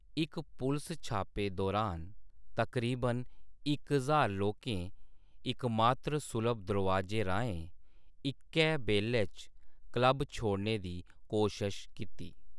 इक पुलस छापे दौरान तकरीबन इक ज्हार लोकें इकमात्र सुलभ दरोआजे राहें इक्कै बेल्लै च क्लब छोड़ने दी कोशश कीती।